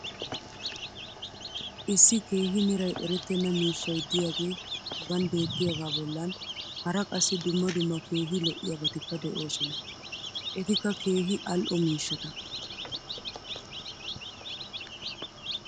issi keehi meray erettenna miishshay diyaagee hagan beetiyaagaa bolan hara qassi dumma dumma keehi lo'iyaabatikka de'oosona. etikka keehi al'o miishshata.